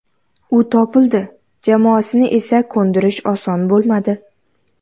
U topildi, jamoasini esa ko‘ndirish oson bo‘lmadi.